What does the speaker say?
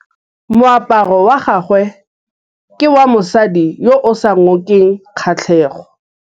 Moaparô wa gagwe ke wa mosadi yo o sa ngôkeng kgatlhegô.